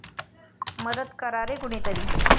मदत करा रे कुणीतरी